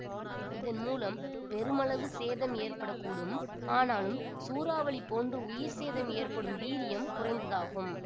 இதன் மூலம் பெருமளவு சேதம் ஏற்பட கூடும் ஆனாலும் சூறாவளி போன்று உயிர் சேதம் ஏற்படும் வீரியம் குறைந்ததாகும்